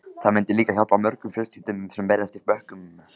Það myndi líka hjálpa mörgum fjölskyldum sem berjast í bökkum.